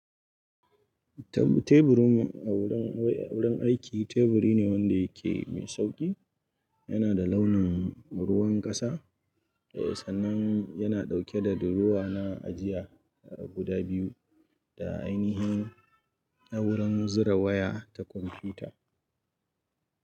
Tab- teburin mu a wurin aiki teburi ne wanda yake mai sauƙi. Yana da launin ruwan ƙasa, eh sannan yana ɗauke da durowa na ajiya guda biyu da ainihin wurin zira waya ta kwamfuta.